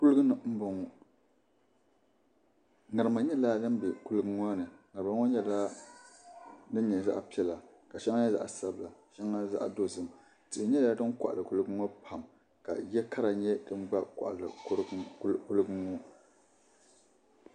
Kuliga ni n boŋo ŋarima nyɛla din bɛ kuliga ŋo ni ŋarima ŋo nyɛla zaɣ piɛla ka shɛŋa nyɛ zaɣ sabila shɛŋa zaɣ dozim tihi nyɛla din koɣali kuliga ŋo pam ka yɛ kara nyɛ dan gba koɣali kuliga ŋo